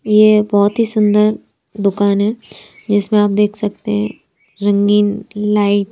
यह बहुत ही सुंदर दुकान है जिसमें आप देख सकते हैं रंगीन लाइट ।